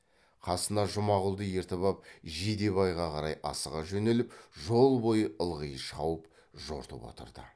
қасына жұмағұлды ертіп ап жидебайға қарай асыға жөнеліп жол бойы ылғи шауып жортып отырды